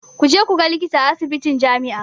Ku je ku ga likita a asibitin jami'a.